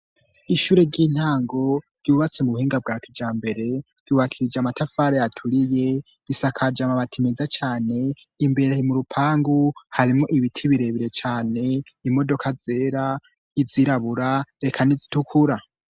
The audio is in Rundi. Ishure ry'intango ryubatse mu buhinga bwa kija mbere tiwakije amatafara yaturiye bisakaje amabati meza cane imbere mu rupangu harimo ibiti birebire cane imodoka zera izirabura reka nizitukura.